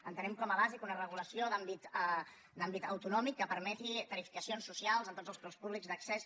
entenem com a bàsica una regulació d’àmbit autonòmic que permeti tarifacions socials en tot els preus públics d’accés